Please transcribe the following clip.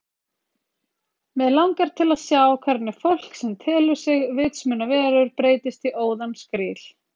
Mig langar til að sjá hvernig fólk sem telur sig vitsmunaverur breytist í óðan skríl